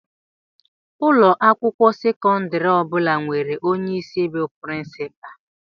Ụlọ akwụkwọ sekọndrị ọ bụla nwere onye isi bu princupalu.